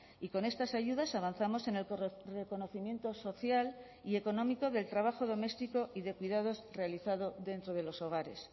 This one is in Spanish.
y con estas ayudas avanzamos en el reconocimiento social y económico del trabajo doméstico y de cuidados realizado dentro de los hogares